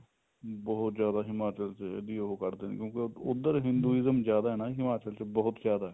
ਬਹੁਤ ਜਿਆਦਾ ਹਿਮਾਚਲ ਚ ਇਹਦੀ ਉਹ ਕੱਢਦੇ ਨੇ ਕਿਉਂ ਕਿ ਉੱਧਰ Hinduism ਜਿਆਦਾ ਨਾ ਹਿਮਾਚਲ ਚ ਬਹੁਤ ਜਿਆਦਾ